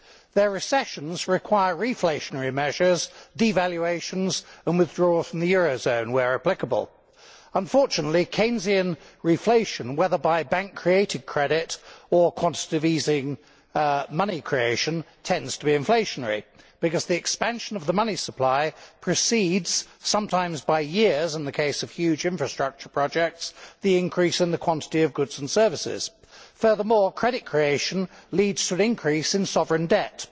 Their recessions require reflationary measures, devaluations and withdrawal from the euro zone where applicable. Unfortunately Keynesian reflation, whether by bank created credit or quantitative easing money creation, tends to be inflationary, because the expansion of the money supply precedes sometimes by years in the case of huge infrastructure projects the increase in the quantity of goods and services. Furthermore, credit creation leads to an increase in sovereign debt.